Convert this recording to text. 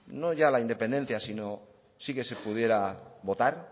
no ya la independencia sino sí que se pudiera votar